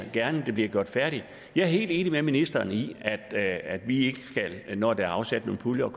det bliver gjort færdigt jeg er helt enig med ministeren i at at vi ikke når der er afsat nogle puljer